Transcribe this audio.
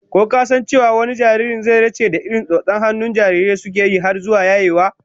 Ko ka san cewa wani jaririn, zai zarce da irin tsotson hannun jarirai suke yi har zuwa yayewa?